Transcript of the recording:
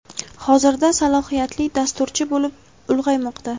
hozirda salohiyatli dasturchi bo‘lib ulg‘aymoqda.